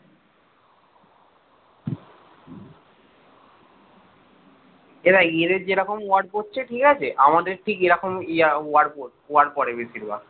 এই দেখ এদের যেরকম ward পড়ছে ঠিক আছে? আমাদের ঠিক এরকম ward পড়ে বেশিরভাগ